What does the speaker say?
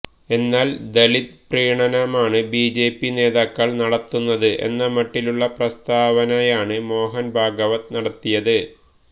എന്നാല് ദലിത് പ്രീണനമാണ് ബിജെപി നേതാക്കള് നടത്തുന്നത് എന്ന മട്ടിലുള്ള പ്രസ്താവനയാണ് മോഹന് ഭഗവത് നടത്തിയത്